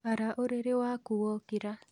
Ara ũrĩrĩ waku wokĩra